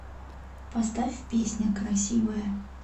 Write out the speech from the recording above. поставь песня красивая